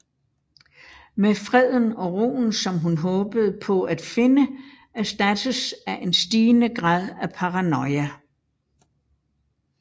Men freden og roen som hun håbede på at finde erstattets af en stigende grad af paranoia